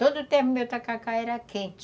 Todo o tempo meu tacacá era quente.